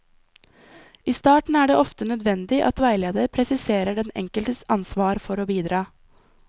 I starten er det ofte nødvendig at veileder presiserer den enkeltes ansvar for å bidra.